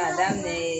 K'a daminɛ